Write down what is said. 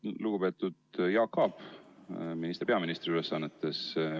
Lugupeetud Jaak Aab, minister peaministri ülesannetes!